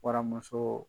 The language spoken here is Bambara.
Waramuso